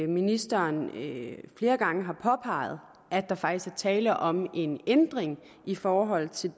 ministeren flere gange har påpeget at der faktisk er tale om en ændring i forhold til